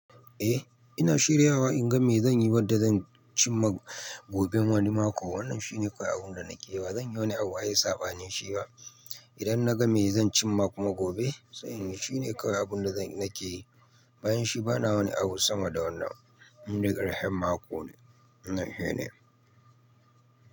Eh, ina shirya wa in ga me zan yi, wadda zan cimma gobe, wani mako. Wannan shine kayi abun da nake yi ba zan yi wani abu a yi saɓanin shi ba. Idan na ga me zan cimma kuma gobe, sai shine kayi abun da nake yi. Bayan shi bana wani abu sama da wannan. Inda ƙarhen mako ne, wannan shi ne.